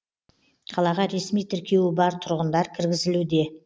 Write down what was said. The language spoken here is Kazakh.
қалаға ресми тіркеуі бар тұрғындар кіргізілуде